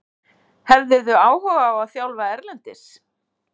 Hefðirðu áhuga á að þjálfa erlendis?